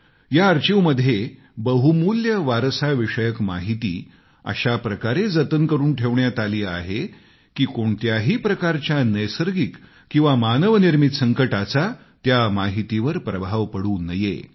या आर्काईव्हमध्ये बहुमूल्य वारसाविषयक माहिती अशा प्रकारे जतन करून ठेवण्यात आली आहे की कोणत्याही प्रकारच्या नैसर्गिक किंवा मानव निर्मित संकटाचा त्या माहितीवर प्रभाव पडू नये